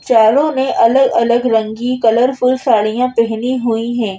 चारों ने अलग-अलग रंगी कलरफुल साड़ियां पहनी हुई हैं।